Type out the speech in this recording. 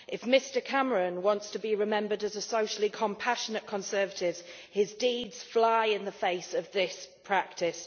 If Mr Cameron wants to be remembered as a socially compassionate Conservative, his deeds fly in the face of this practice.